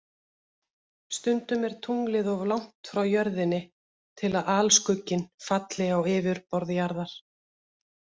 Stundum er tunglið of langt frá Jörðinni til að alskugginn falli á yfirborð Jarðar.